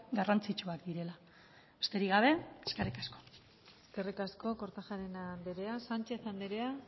garrantzitsuak direla besterik gabe eskerrik asko eskerrik asko kortajarena andrea sánchez andrea